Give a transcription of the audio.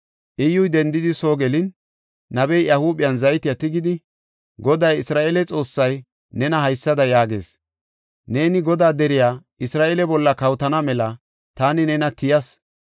Iyyuy dendidi soo gelin, nabey iya huuphen zayte tigidi, “Goday Isra7eele Xoossay, nena haysada yaagees, ‘Neeni Godaa deriya, Isra7eele bolla kawotana mela taani nena tiyas.